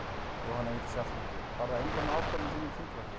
Jóhanna Vigdís Hjaltadóttir: Var það einróma ákvörðun í þínum þingflokki?